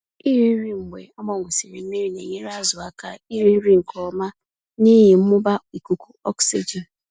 Iri nri mgbe agbanwesịrị mmiri na-enyere azụ aka iri nri nke ọma n'ihi mmụba ikuku oxygen.